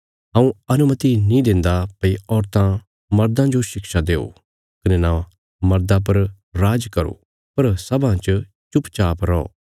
हऊँ अनुमति नीं देन्दा भई औरतां मर्दां जो शिक्षा देओ कने नां मर्दा पर राज करो पर सभां च चुपचाप रौ